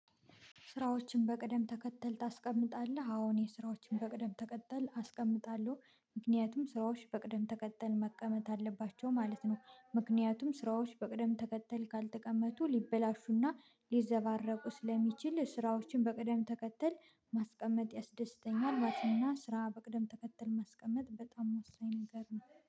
ስራዎችን በቅደም ተከተል ታስቀምጣለህ? አዎ እኔ ስራዎችን በቅደም ተከተል አስቀምጣለሁ ምክንያቱም ስራዎች በቅደም ተከተል መቀመጥ አለባቸው ማለት ነው ምክንያቱም ስራዎች በቅደም ተከተል ካልተቀመጡ ሊበላሹና ሊዘባረቁ ስለሚችል ስራዎችን በቅደም ተከተል ማስቀመጥ ያስደስተኛል ማለት ነውና ስራ በቅደም ተከተል ማስቀመጥ በጣም ወሳኝ ነገር ነው